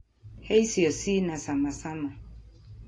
He icio cinacamacama